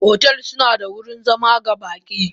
Otel sunaba da wurin zama ga baki.